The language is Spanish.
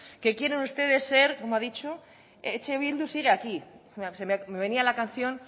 que quiere ustedes ser cómo ha dicho eh bildu sigue aquí me venía la canción